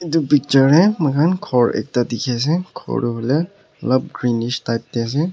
itu picture teh muihan ekta ghor dikhi ase ghor tu huile olop greenish type teh ase.